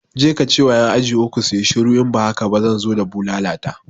Je kace wa ƴan aji uku suyi shiru in ba haka ba zan zo da bulala ta